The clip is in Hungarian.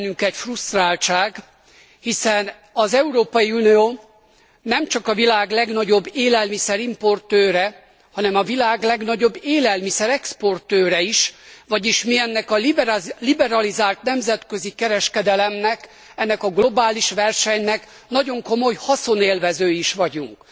Van bennünk egy frusztráltság, hiszen az Európai Unió nemcsak a világ legnagyobb élelmiszer importőre, hanem a világ legnagyobb élelmiszer exportőre is, vagyis mi ennek a liberalizált nemzetközi kereskedelemnek, ennek a globális versenynek nagyon komoly haszonélvezői is vagyunk.